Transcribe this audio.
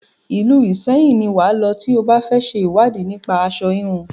Ìlú Ìṣẹyìn ni wà á lọ tí o bá fẹ ṣe ìwádìí nípa aṣo híhun.